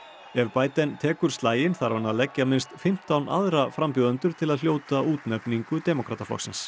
ef Biden tekur slaginn þarf hann að leggja minnst fimmtán aðra frambjóðendur til að hljóta útnefningu demókrataflokksins